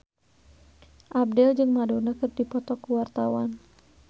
Abdel jeung Madonna keur dipoto ku wartawan